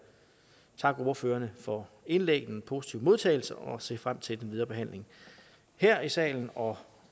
takke ordførerne for indlæggene positive modtagelse og jeg ser frem til den videre behandling her i salen og